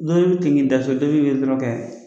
N'o ye tiŋinda to tobi ye dɔrɔn kɛ